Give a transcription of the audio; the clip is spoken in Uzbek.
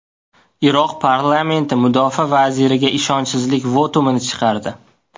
Iroq parlamenti mudofaa vaziriga ishonchsizlik votumini chiqardi.